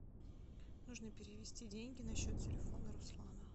нужно перевести деньги на счет телефона руслана